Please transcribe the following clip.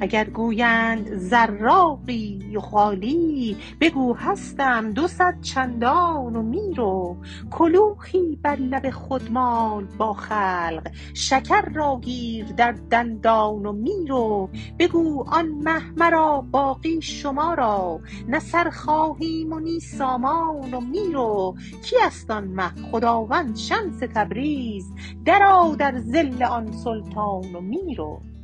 اگر گویند زراقی و خالی بگو هستم دوصد چندان و می رو کلوخی بر لب خود مال با خلق شکر را گیر در دندان و می رو بگو آن مه مرا باقی شما را نه سر خواهیم و نی سامان و می رو کی است آن مه خداوند شمس تبریز درآ در ظل آن سلطان و می رو